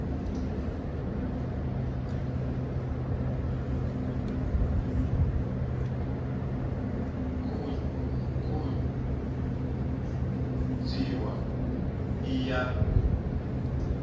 khou dzhiwa i ya u